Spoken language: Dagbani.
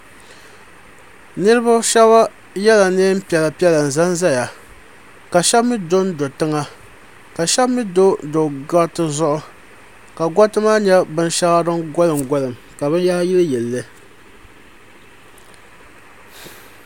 Ninvuɣi shɛba ye la nɛɛn piɛla piɛla n za n zaya ka shɛba mi do n do tiŋa ka ahɛba mi so n do gariti zuɣu ka gariti maa nyɛ bini shɛŋa dini golim golim la bini yahari yili yili li.